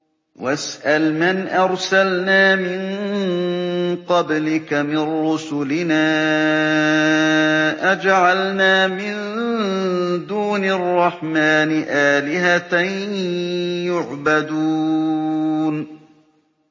وَاسْأَلْ مَنْ أَرْسَلْنَا مِن قَبْلِكَ مِن رُّسُلِنَا أَجَعَلْنَا مِن دُونِ الرَّحْمَٰنِ آلِهَةً يُعْبَدُونَ